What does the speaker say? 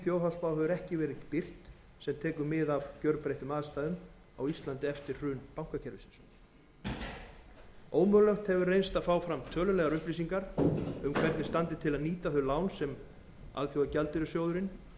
þjóðhagsspá hefur ekki verið birt sem tekur mið af gjörbreyttum aðstæðum á íslandi eftir hrun bankakerfisins ómögulegt hefur reynst að fá fram tölulegar upplýsingar um hvernig til standi að nýta þau lán sem alþjóðagjaldeyrissjóðurinn